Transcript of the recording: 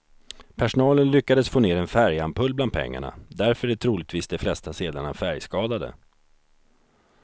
Personalen lyckades få ner en färgampull bland pengarna, därför är troligtvis de flesta sedlarna färgskadade.